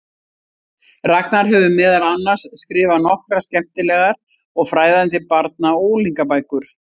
Ragnar hefur meðal annars skrifað nokkrar skemmtilegar og fræðandi barna- og unglingabækur.